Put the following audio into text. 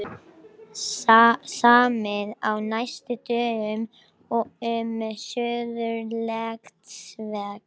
Samið á næstu dögum um Suðurlandsveg